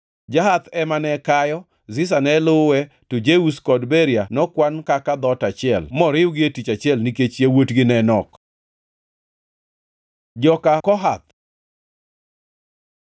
Jahath ema ne kayo, Ziza ne luwe, to Jeush kod Beria nokwan kaka dhoot achiel moriwgi e tich achiel nikech yawuotgi ne nok. Joka Kohath